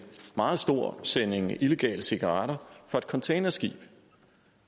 meget stor sending illegale cigaretter fra et containerskib